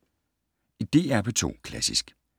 DR P2 Klassisk